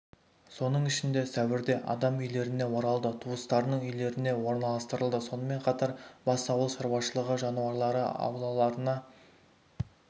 соның ішінде сәуірде адам үйлеріне оралды туыстарының үйлеріне орналастырылды сонымен қатар бас ауыл шаруашылығы жануарлары аулаларына